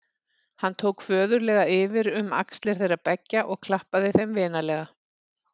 Hann tók föðurlega yfir um axlir þeirra beggja og klappaði þeim vinalega.